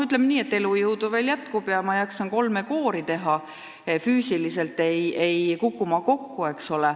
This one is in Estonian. Ütleme nii, et elujõudu veel jätkub ja ma jaksan kolme koori teha, füüsiliselt ei kuku ma kokku.